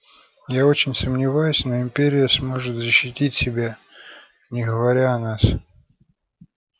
я очень сомневаюсь но империя сможет защитить себя не говоря о нас